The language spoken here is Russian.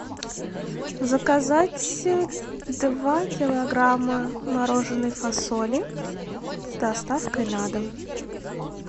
заказать два килограмма мороженной фасоли с доставкой на дом